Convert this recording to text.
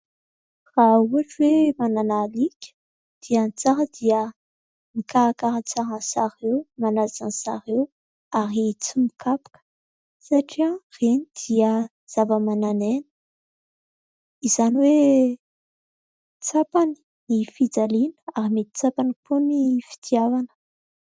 Raha ohatra hoe manana alika dia ny tsara dia mikarakara tsara an'izy ireo, manaja an'izy ireo ary tsy mikapoka satria ireny dia zava-manan'aina, izany hoe tsapany ny fijaliana ary mety tsapany koa ny fitiavana.